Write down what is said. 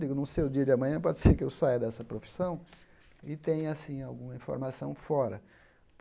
Digo, não sei o dia de amanhã, pode ser que eu saia dessa profissão e tenha, assim, alguma informação fora.